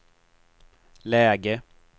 läge